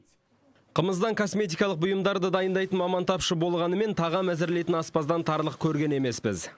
қымыздан косметикалық бұйымдарды дайындайтын маман тапшы болғанымен тағам әзірлейтін аспаздан тарлық көрген емеспіз